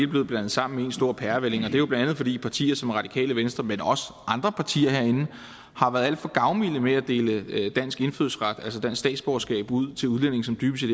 blevet blandet sammen i en stor pærevælling og det er bla fordi partier som radikale venstre men også andre partier herinde har været alt for gavmilde med at dele dansk indfødsret altså dansk statsborgerskab ud til udlændinge som dybest